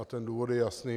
A ten důvod je jasný.